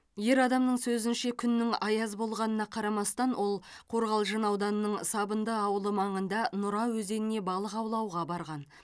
ер адамның сөзінше күннің аяз болғанына қарамастан ол қорғалжын ауданының сабынды ауылы маңында нұра өзеніне балық аулауға барған